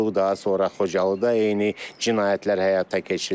Daha sonra Xocalıda eyni cinayətlər həyata keçirildi.